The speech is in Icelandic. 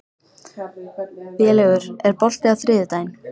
Vélaugur, er bolti á þriðjudaginn?